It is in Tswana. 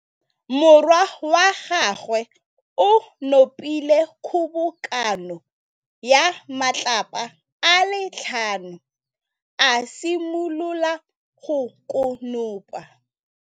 Morwa wa gagwe o nopile kgobokanô ya matlapa a le tlhano, a simolola go konopa.